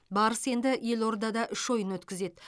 барыс енді елордада үш ойын өткізеді